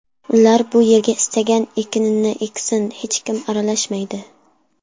Ular bu yerga istagan ekinini eksin, hech kim aralashmaydi.